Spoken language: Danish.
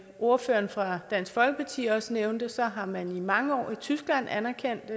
ordføreren for dansk folkeparti også nævnte har man i mange år i tyskland anerkendt